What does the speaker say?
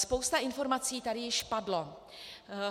Spousta informací tady již padla.